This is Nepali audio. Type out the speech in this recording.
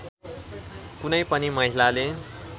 कुनै पनि महिलाले